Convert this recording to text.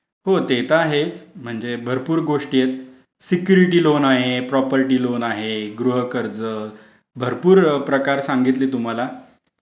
होतेत आहे म्हणजे भरपूर गोष्टी आहेत सिक्युरिटी लोन आहे प्रॉपर्टी लोन आहे गृह कर्ज भरपूर प्रकार सांगितले तुम्हाला.